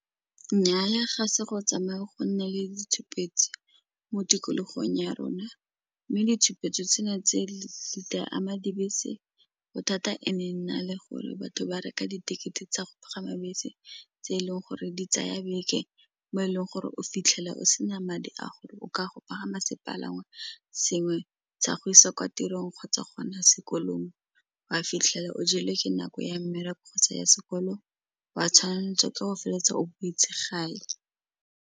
Nnyaa ya, ga se go tsamaya go nna le ditshupetso mo tikologong ya rona, mme ditshupetso tse na tse di tla ama dibese bothata e ne e nna le gore batho ba reka di-ticket-e tsa go pagama bese tse e leng gore di tsaya beke mo e leng gore o fitlhela o sena madi a gore o ka go pagama sepalangwa sengwe sa go isa kwa tirong kgotsa gona sekolong wa fitlhela o jelwe ke nako ya mmereko kgotsa ya sekolo wa tshwanetse ke go feleletsa o beetse gae.